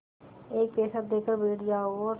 एक पैसा देकर बैठ जाओ और